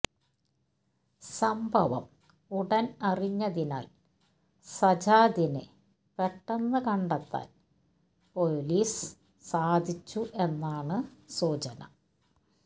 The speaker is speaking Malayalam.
സംഭവം ഉടൻ അറിഞ്ഞതിനാൽ സജാദിനെ പെട്ടെന്ന് കണ്ടെത്താൻ പൊലീസ് സാധിച്ചു എന്നാണ് സൂചന